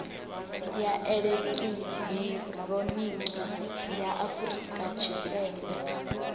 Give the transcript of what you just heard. ya elekihironiki ya afurika tshipembe